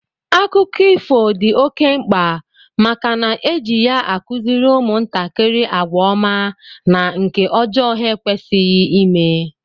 Akụkọ ifo dị oké mkpa màkà na eji ya akuziri umuntakiri àgwà ọma na nke ọjọọ ha ekwesighi ime